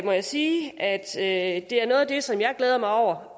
må jeg sige at det er noget af det som jeg glæder mig over